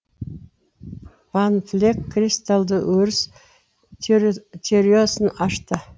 ван флек кристалдық өріс теориясын ашты